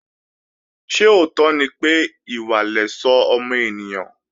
Ṣé òótọ́ ni pé, ìwà lẹ̀ṣọ́ ọmọ ènìyàn?